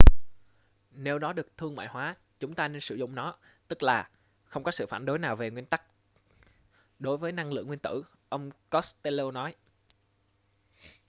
nếu nó được thương mại hóa chúng ta nên sử dụng nó tức là không có sự phản đối nào về nguyên tắc đối với năng lượng nguyên tử ông costello nói